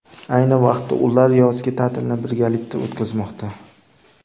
Ayni vaqtda ular yozgi ta’tilni birgalikda o‘tkazmoqda.